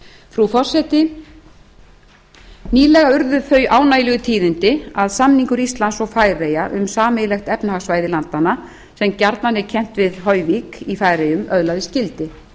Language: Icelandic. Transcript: frú forseti nýlega urðu þau ánægjulegu tíðindi að samningur íslands og færeyja um sameiginlegt efnahagssvæði landanna sem gjarnan er kenndur við hoyvík í færeyjum öðlaðist gildi